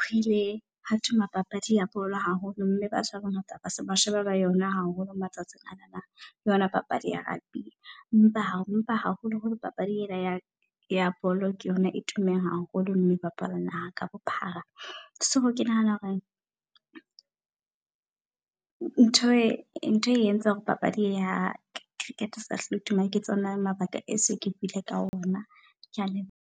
hoile hwa tuma papadi ya bolo haholo mme batho ba bangata ba se ba sheba ba yona haholo matsatsing anana. Le yona papadi ya rugby. Empa hao empa haholoholo papadi ena ya ya bolo, ke yona e tummeng haholo. Mme e bapalwang naha ka bophara. So ke nahana hore ntho e ntho e etsa hore papadi ya Cricket eseka hlola e tuma ke tsona mabaka, e se ke buil ka ona. Kea leboha.